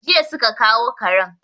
Jiya su ka kawo karen.